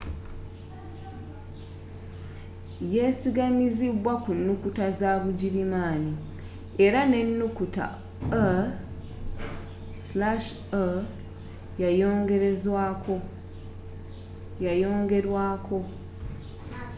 yesigamizibwa ku nukuta za bugirimaani era n'enukuta õ/õ” yayongerwaako